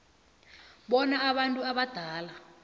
bona abantu abadala